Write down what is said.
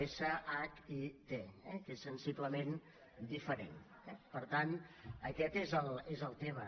essa hac i te eh que és sensiblement diferent tant aquest és el tema